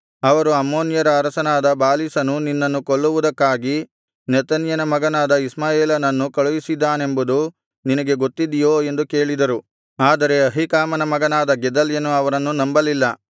ಅವರು ಅಮ್ಮೋನ್ಯರ ಅರಸನಾದ ಬಾಲೀಸನು ನಿನ್ನನ್ನು ಕೊಲ್ಲುವುದಕ್ಕಾಗಿ ನೆತನ್ಯನ ಮಗನಾದ ಇಷ್ಮಾಯೇಲನನ್ನು ಕಳುಹಿಸದ್ದಾನೆಂಬುದು ನಿನಗೆ ಗೊತ್ತಿದೆಯೋ ಎಂದು ಕೇಳಿದರು ಆದರೆ ಅಹೀಕಾಮನ ಮಗನಾದ ಗೆದಲ್ಯನು ಅವರನ್ನು ನಂಬಲಿಲ್ಲ